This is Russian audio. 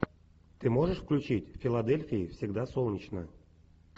ты можешь включить в филадельфии всегда солнечно